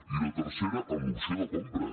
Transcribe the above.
i la tercera amb l’opció de compra